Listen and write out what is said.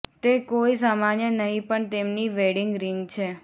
તે કોઈ સામાન્ય નહીં પણ તેમની વેડિંગ રિંગ છે